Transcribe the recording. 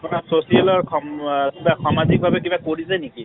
আপোনাৰ social ৰ সম কিবা সামাজিক ভাবে কিবা কৰিছে নেকি